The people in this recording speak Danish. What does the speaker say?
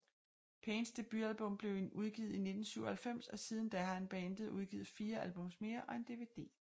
Pains debutalbum blev udgivet i 1997 og siden da har bandet udgivet fire albums mere og en DVD